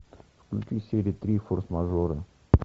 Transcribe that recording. включи серия три форс мажоры